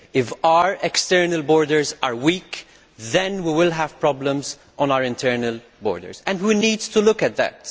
If our external borders are weak then we will have problems on our internal borders and we need to look at that.